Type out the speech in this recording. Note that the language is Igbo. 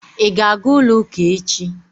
Ị ga-aga ụlọ ụka echi?